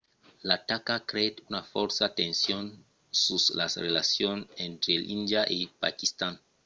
l'ataca creèt una fòrta tension sus las relacions entre índia e paquistan